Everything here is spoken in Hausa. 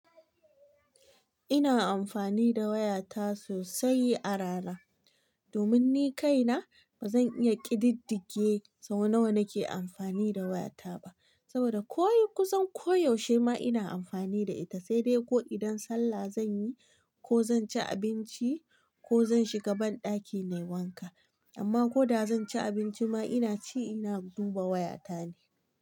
Ina amfani da wayata sosai a rana. Domin ni kaina ba zan iya ƙididdige sau nawa nake amfani da wayata ba. Saboda ko yi kusan koyaushe ma ina amfani da ita, sai dai ko idan sallah zan yi ko zan ci abinci ko zan shiga banɗaki nayi wanka. Amma koda zan ci abinci ma ina ci ina duba wayata ne.